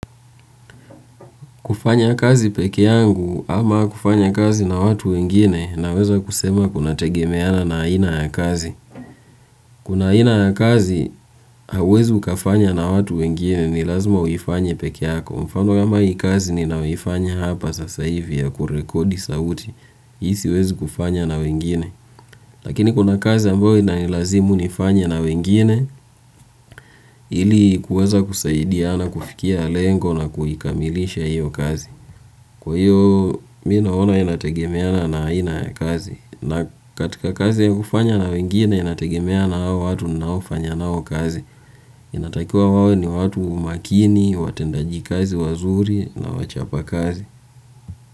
Kufanya kazi pekee yangu ama kufanya kazi na watu wengine naweza kusema kuna tegemeana na aina ya kazi. Kuna aina ya kazi, hauwezi ukafanya na watu wengine ni lazima uifanye pekee yako. Mfano kama hii kazi ninayoifanya hapa sasa hivi ya kurekodi sauti. Hii siwezi kufanya na wengine. Lakini kuna kazi ambayo inanilazimu nifanye na wengine, ili kuweza kusaidia na kufikia lengo na kuikamilisha hiyo kazi. Kwa hiyo, mimi naono inategemeana na aina ya kazi. Na katika kazi hufanya na wengine, inategemea na hawa watu ninao fanya nao kazi. Inatakiwa wawe ni watu makini, watendaji kazi wazuri na wachapa kazi.